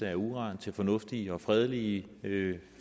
af uran til fornuftige og fredelige